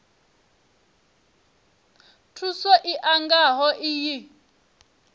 thuso i nga ho iyi